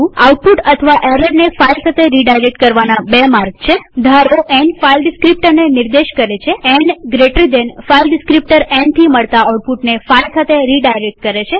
output અથવા એરરને file સાથે રીડાયરેક્ટ કરવાના બે માર્ગ છે ધારોn ફાઈલ ડીસ્ક્રીપ્ટરને નિર્દેશ કરે છેn જમણા ખૂણાવાળો કૌંસ ફાઈલ ડીસ્ક્રીપ્ટર nથી મળતા આઉટપુટને ફાઈલ સાથે રીડાયરેક્ટ કરે છે